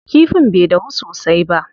Kifin bai dahu sosai ba.